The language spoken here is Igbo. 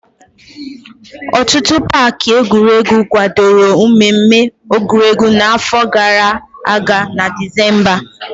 Ọtụtụ paaki egwuregu kwadoro mmemme egwuregwu n'afọ gara aga na Dizemba.